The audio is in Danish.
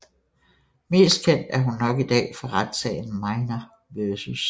Mest kendt er hun i dag nok for retssagen Minor vs